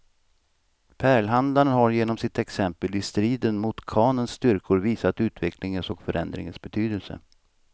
Pärlhandlaren har genom sitt exempel i striden mot khanens styrkor visat utvecklingens och förändringens betydelse.